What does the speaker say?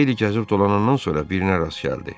Xeyli gəzib dolanandan sonra birinə rast gəldi.